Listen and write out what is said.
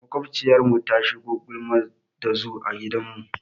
Maƙwabciyarmu ta shigo gulma ɗazu a gidanmu.